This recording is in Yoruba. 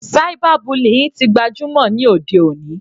Cyber bullying tí gbajúmọ̀ ní òde òní.